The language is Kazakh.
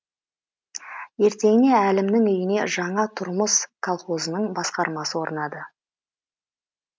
ертеңіне әлімнің үйіне жаңа тұрмыс қалқозының басқармасы орнады